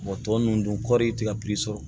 tɔ ninnu dun kɔɔri ti ka sɔrɔ